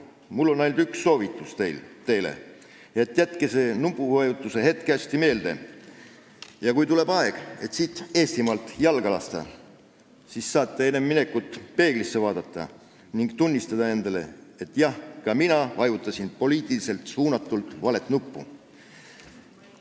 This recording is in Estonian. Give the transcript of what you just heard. Mul on teile ainult üks soovitus: jätke see nupuvajutuse hetk hästi meelde ja kui tuleb aeg siit Eestimaalt jalga lasta, siis saate enne minekut peeglisse vaadata ning endale tunnistada, et jah, ka mina vajutasin poliitiliselt suunatult valet nuppu.